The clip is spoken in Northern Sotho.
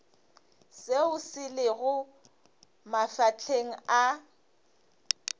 seo se lego mafahleng a